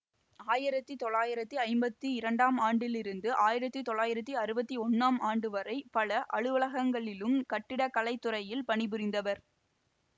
ஆயிரத்தி தொள்ளாயிரத்தி ஐம்பத்தி இரண்டாம் ஆண்டிலிருந்து ஆயிரத்தி தொள்ளாயிரத்தி அறுவத்தி ஒன்னாம் ஆண்டுவரை பல அலுவலகங்களிலும் கட்டிடக்கலைத்துறையில் பணிபுரிந்தார்